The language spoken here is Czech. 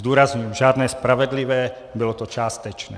Zdůrazňuji, žádné spravedlivé, bylo to částečné.